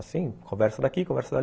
Assim, conversa daqui, conversa ali.